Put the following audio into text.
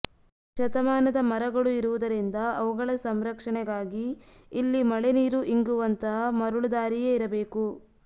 ಶತಮಾನದ ಮರಗಳು ಇರುವುದರಿಂದ ಅವುಗಳ ಸಂರಕ್ಷಣೆಗಾಗಿ ಇಲ್ಲಿ ಮಳೆ ನೀರು ಇಂಗುವಂತಹ ಮರಳು ದಾರಿಯೇ ಇರಬೇಕು